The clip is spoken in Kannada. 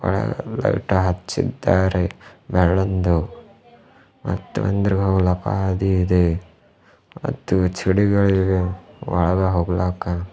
ಒಳಗ್ ಲೈಟಾ ಹಚ್ಚೀದ್ದಾರೆ ಬೆಳ್ಳೊಂದು ಮತ್ತು ಒಂದರ ಮೂಲಕ ಹಾದಿ ಇದೆ ಮತ್ತು ಚಿಡಿಗಳಿವೆ ಒಳಗ ಹೋಗ್ಲಾಕ --